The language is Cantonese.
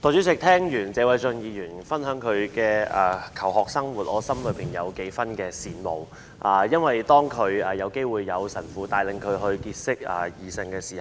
代理主席，聽完謝偉俊議員分享他的求學生活，我心裏有一點羨慕，因為當他有機會由神父帶領結識異性時，